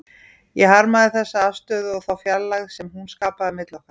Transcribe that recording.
Ég harmaði þessa afstöðu og þá fjarlægð sem hún skapaði milli okkar.